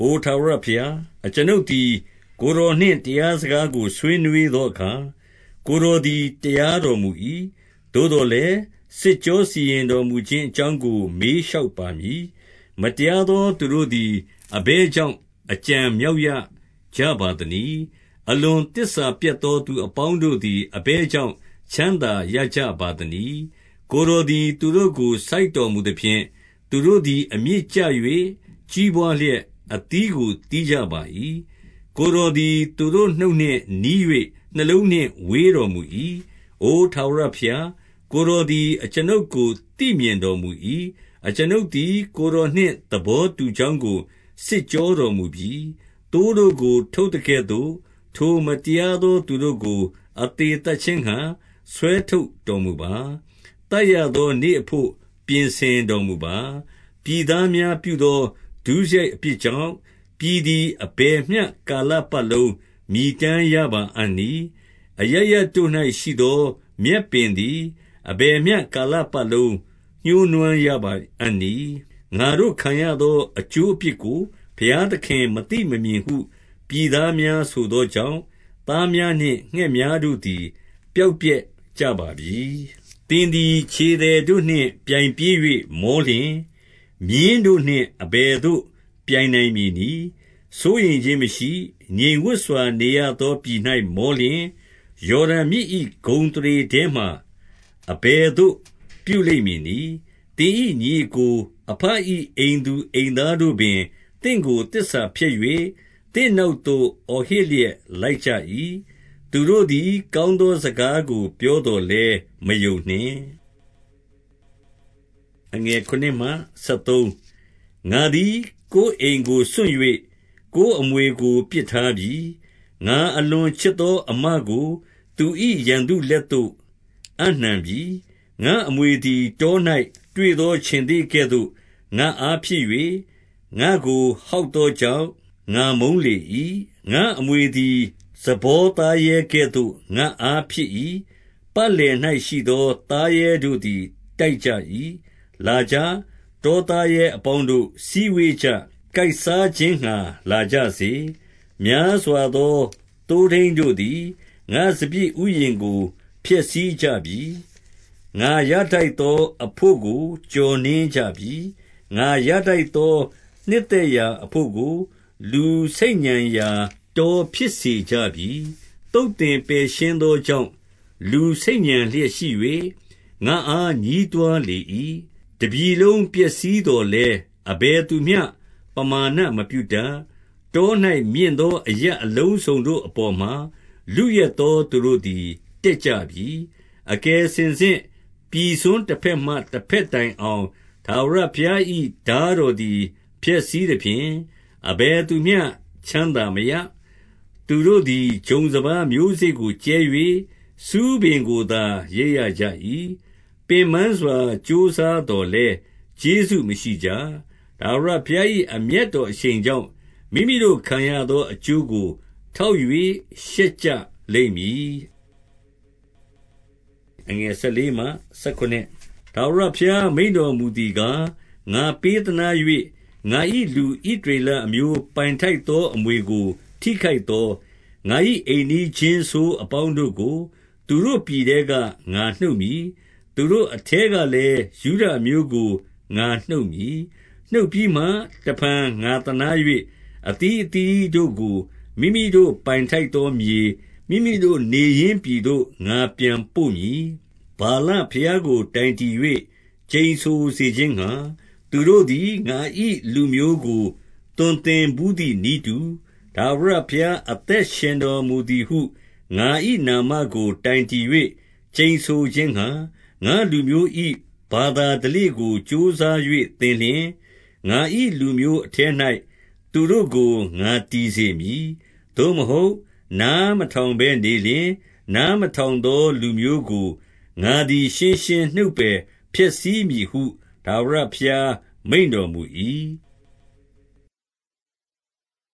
အိုထာဝရဘုရား၊ အကျွန်ုပ်သည် ကိုယ်တော်နှင့် တရားစကားကို ဆွေးနွှေးသောအခါ၊ ကိုယ်တော်သည် တရားတော်မူ၏။ သို့သော်လည်း၊ စစ်ကြောစီရင်တော်မူ ခြင်းအကြောင်းကို မေးလျှောက်ပါမည်။ မတရားသော သူတို့သည် အဘယ်ကြောင့် အကြံမြောက်ရကြပါ သနည်း။ အလွန်သစ္စာပျက်သော သူအပေါင်းတို့သည် အဘယ်ကြောင့် ချမ်းသာရကြပါသနည်း။ 2 ကိုယ်တော်သည် သူတို့ကို စိုက်တော်မူသဖြင့်၊ သူတို့သည် အမြစ်ကျ၍ ကြီးပွါးလျက် အသီးကို သီးကြ ပါ၏။ ကိုယ်တော်သည် သူတို့နှုတ်နှင့် နီး၍ နှလုံးနှင့် ဝေးတော်မူ၏။ 3 အို ထာဝရဘုရား၊ ကိုယ်တော်သည် အကျွန်ုပ်ကို သိမြင်တော်မူ၏။ အကျွန်ုပ်သည် ကိုယ်တော်နှင့်သဘော တူကြောင်းကို စစ်ကြောတော်မူပြီ။ သိုးတို့ကို ထုတ်သကဲ့သို့၊ ထိုမတရားသော သူတို့ကို အသေသတ်ခြင်းငှါ ဆွဲထုတ် တော်မူပါ။ သတ်ရသောနေ့အဘို့ ပြင်ဆင်တော်မူပါ။ 4 ပြည်သားများပြုသော ဒုစရိုက်အပြစ်ကြောင့်၊ ပြည်သည် အဘယ်မျှကာလပတ်လုံး မြည်တမ်းရပါအံ့ နည်း။ အရပ်ရပ်တို့၌ရှိသော မြက်ပင်သည် အဘယ်မျှ ကာလပတ်လုံး ညှိုးနွမ်းရပါအံ့နည်း။ ငါတို့ခံရသော အကျိုးအပြစ်ကို ဘုရားသခင်မသိမမြင်ဟု ပြည်သားများ ဆိုသောကြောင့်၊ သားများနှင့် ငှက်များတို့သည် ပျောက် ပျက်ကြပါပြီ။ 5 သင်သည် ခြေသည်တို့နှင့် ပြိုင်ပြေး၍ မောလျှင် မြင်းတို့နှင့် အဘယ်သို့ပြိုင်နိုင်မည်နည်း။ စိုးရိမ်ခြင်းမရှိ၊ ငြိမ်ဝပ်စွာ နေရသောပြည်၌ မောလျှင်၊ ယော်ဒန်မြစ်၏ ဂုဏ်အသရေထဲမှာ အဘယ်သို့ပြုလိမ့်မည်နည်း။ 6 သင်၏ညီအစ်ကို၊ အဘ၏ အိမ်သူအိမ်သားတို့ ပင် သင့်ကို သစ္စာဖျက်၍၊ သင့်နောက်သို့ အော်ဟစ်လျက် လိုက်ကြ၏။ သူတို့သည် ကောင်းသောစကားကို ပြော သော်လည်း မယုံနှင့်။ 7 ငါသည်ကိုယ်အိမ်ကိုစွန့်၍၊ ကိုယ်အမွေကို ပစ်ထားပြီ။ ငါအလွန်ချစ်သောအစ်မကို သူ၏ ရန်သူ လက်သို့အပ်နှံပြီ။ 8 ငါ့အမွေသည် တော၌ တွေ့သောခြင်္သေ့ကဲ့သို့ ငါ့အားဖြစ်၍၊ ငါ့ကို ဟောက်သောကြောင့် ငါမုန်းလေ၏။ 9 ငါ့အမွေသည် ဇဘောသားရဲကဲ့သို့ ငါ့အား ဖြစ်၏။ ပတ်လည်၌ရှိသော သားရဲတို့သည် တိုက်ကြ၏။ လာကြ။ တောသားရဲအပေါင်းတို့၊ စည်းဝေးကြ။ ကိုက်စား ခြင်းငှါ လာကြစေ။ 10 များစွာသော သိုးထိန်းတို့သည် ငါ့စပျစ်ဥယျာဉ် ကို ဖျက်ဆီးကြပြီ။ ငါရထိုက်သောအဘို့ကို ကျော်နင်း ကြပြီ။ ငါရထိုက်သောနှစ်သက်ရာအဘို့ကို လူဆိတ်ညံရာ တောဖြစ်စေကြပြီ။ 11 သုတ်သင်ပယ်ရှင်းသောကြောင့်၊ လူဆိတ်ညံ လျက်ရှိ၍၊ ငါ့အား ညဉ်းတွားလေ၏။ တပြည်လုံးပျက်စီး သော်လည်း၊ အဘယ်သူမျှပမာဏ မပြုတတ်။ 12 တော၌ မြင့်သော အရပ်အလုံးစုံတို့အပေါ်မှာ လုယက်သော သူတို့သည် တက်ကြပြီ။ အကယ်စင်စစ် ပြည်စွန်းတဘက်မှ တဘက်တိုင်အောင် ထာဝရဘုရား၏ ထားတော်သည် ဖျက်ဆီးသဖြင့်၊ အဘယ်သူမျှ ချမ်းသာ မရ။ 13 သူတို့သည် ဂျုံစပါးမျိုးစေ့ကို ကြဲ၍ ဆူးပင်ကိုသာ ရိတ်ရကြ၏။ ပင်ပန်းစွာ ကြိုးစားသော်လည်း ကျေးဇူး မရှိကြ။ ထာဝရဘုရား၏ အမျက်တော်အရှိန်ကြောင့်၊ မိမိတို့ ခံရသောအကျိုးကို ထောက်၍ ရှက်ကြလိမ့်မည်။ 14 ထာဝရဘုရား မိန့်တော်မူသည်ကား၊ ငါပေး သနား၍၊ ငါ၏လူ ဣသရေလအမျိုးပိုင်ထိုက်သော အမွေ ကို ထိခိုက်သော၊ ငါ၏အိမ်နီးချင်းဆိုးအပေါင်းတို့ကို၊ သူတို့ ပြည်ထဲက ငါနှုတ်မည်။ သူတို့အထဲကလည်း ယုဒအမျိုးကို ငါနှုတ်မည်။ 15 နှုတ်ပြီးမှတဖန် ငါသနား၍၊ အသီးအသီးတို့ကို မိမိတို့ပိုင်ထိုက်သော မြေ၊ မိမိတို့နေရင်းပြည်သို့ ငါပြန် ပို့မည်။ 16 ဗာလဘုရားကိုတိုင်တည်၍ ကျိန်ဆိုစေခြင်းငှါ၊ သူတို့သည် ငါ၏လူမျိုးကို သွန်သင်ဘူးသည်နည်းတူ၊ ထာဝရဘုရား အသက်ရှင်တော်မူသည်ဟု၊ ငါ၏နာမကို တိုင်တည်၍ ကျိန်ဆိုခြင်းငှါ၊ ငါ့လူမျိုး၏ ဘာသာဓလေ့ကို ကြိုးစား၍ သင်လျှင်၊ ငါ၏လူမျိုးအထဲ၌ သူတို့ကို ငါတည် စေမည်။ 17 သို့မဟုတ်၊ နားမထောင်ဘဲနေလျှင်၊ နား မထောင်သော လူမျိုးကို ငါသည် ရှင်းရှင်းနှုတ်ပယ် ဖျက် ဆီးမည်ဟု ထာဝရဘုရားမိန့်တော်မူ၏။